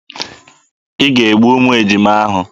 Ị ga-egbu ụmụ ejima ahụ!